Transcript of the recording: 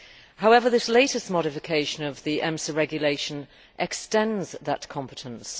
However, this latest modification of the EMSA regulation extends that competence.